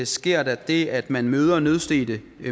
sker der det at man møder nødstedte